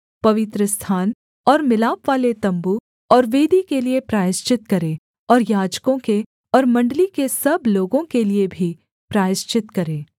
पवित्रस्थान और मिलापवाले तम्बू और वेदी के लिये प्रायश्चित करे और याजकों के और मण्डली के सब लोगों के लिये भी प्रायश्चित करे